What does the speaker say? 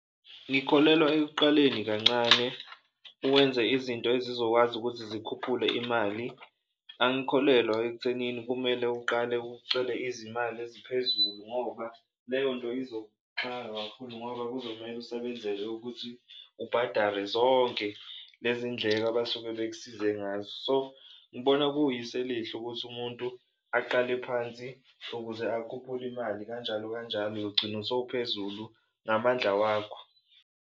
Ngikholelwa ekuqaleni kancane uwenze izinto ezizokwazi ukuthi zikhuphule imali, angikholelwa ekuthenini kumele uqale ucele izimali eziphezulu ngoba leyo nto izokuxaka kakhulu ngoba kuzomele usebenzele ukuthi ubhadare zonke lezi ndleko abasuke bekusize ngazo. So, ngibona kuyisu elihle ukuthi umuntu aqale phansi ukuze akhuphule imali kanjalo kanjalo, uyogcina sowuphezulu ngamandla wakho.